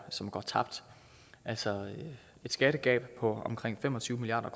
som går tabt altså et skattegab på omkring fem og tyve milliard